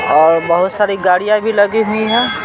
और बहुत सारी गाड़ियाँ भी लगी हुई हैं।